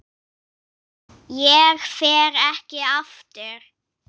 Ég fer ekki aftur.